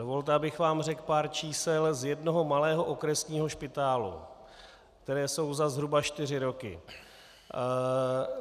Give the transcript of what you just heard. Dovolte, abych vám řekl pár čísel z jednoho malého okresního špitálu, která jsou za zhruba čtyři roky.